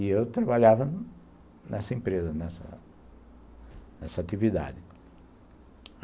E eu trabalhava nessa empresa, nessa atividade.